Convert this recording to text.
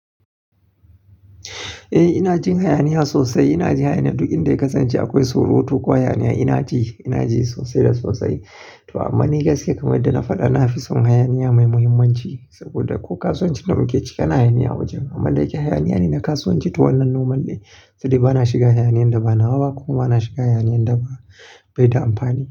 Eh ina jin hayaniya sosai. Ina ji hayaniya duk inda yakasance akwai surutu ko hayaniya ina ji, ina ji sosai da sosai. To amma ni gaskiya kamar yadda da na faɗa na fi son hayaniya mai muhimmanci saboda ko kasuwanci damu ke ciki hayaniya wajen. Amma da akayi hayaniya ina ka so wance ta wannan noman ne saboda bana shiga hayaniyan da ba na wa ba ko bana shiga hayaniyan da ba bai da amfani.